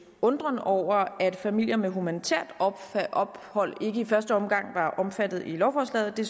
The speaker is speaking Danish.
undren over at familier med humanitært ophold ikke i første omgang var omfattet af lovforslaget det